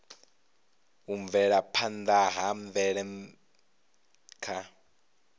u bvelaphanda ha mvelele kha